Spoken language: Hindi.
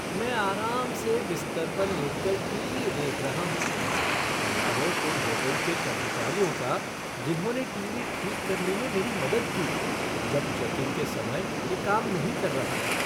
मैं आराम से बिस्तर पर लेटकर टीवी देख रहा हूँ। भला हो उन होटल के कर्मचारियों का जिन्होंने टीवी ठीक करने में मेरी मदद की जब चेक इन के समय यह काम नहीं कर रहा था।